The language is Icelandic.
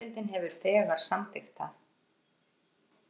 Neðri deildin hefur þegar samþykkt það